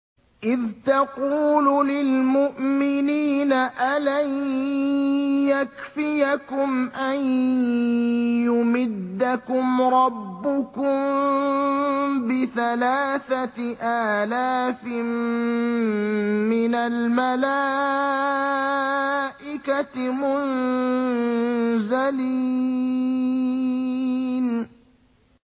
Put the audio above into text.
إِذْ تَقُولُ لِلْمُؤْمِنِينَ أَلَن يَكْفِيَكُمْ أَن يُمِدَّكُمْ رَبُّكُم بِثَلَاثَةِ آلَافٍ مِّنَ الْمَلَائِكَةِ مُنزَلِينَ